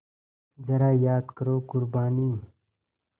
ज़रा याद करो क़ुरबानी